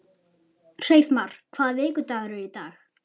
Hreiðmar, hvaða vikudagur er í dag?